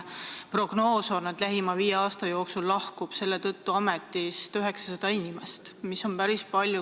Prognoos on, et lähima viie aasta jooksul lahkub selle tõttu ametist 900 inimest, mida on päris palju.